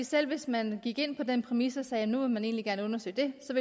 selv hvis man gik ind på den præmis og sagde at nu ville man egentlig gerne undersøge det så